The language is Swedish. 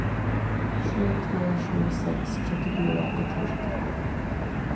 sju tre sju sex sjuttiofyra etthundrasjuttiofem